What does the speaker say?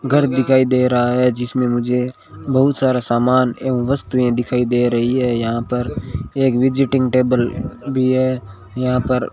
घर दिखाई दे रहा है जिसमें मुझे बहुत सारा सामान एवं वस्तुएं दिखाई दे रही है यहां पर एक विजिटिंग टेबल भी है यहां पर--